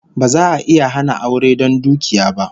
Ba za'a iya hana aure don dukiya ba